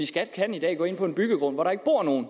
skat kan i dag gå ind på en byggegrund hvor der ikke bor nogen